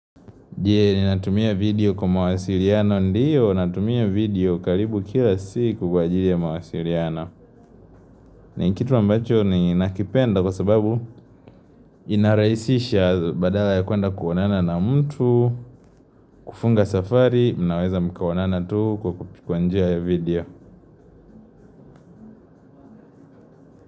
Je ninatumia video kwa mawasiliano ndiyo natumia video karibu kila siku kwa ajili ya mawasiliano. Ni kitu mbacho ninakipenda kwa sababu inarahisisha badala ya kwenda kuonana na mtu. Kufunga safari, mnaweza mkaonana tu kwa kwa njia ya video.